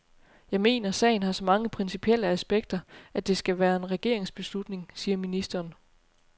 Jeg mener, sagen har så mange principielle aspekter, at det skal være en regeringsbeslutning, siger ministeren.